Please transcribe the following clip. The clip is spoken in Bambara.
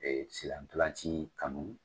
Ee sen na ntolan ci kanu